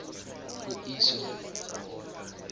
puiso